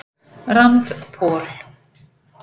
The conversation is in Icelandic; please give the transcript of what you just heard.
Rand Paul